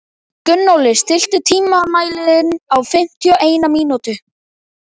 Gunnóli, stilltu tímamælinn á fimmtíu og eina mínútur.